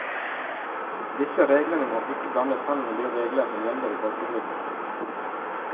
Disse reglene må ikke blandes sammen med de regler som gjelder i folketrygden.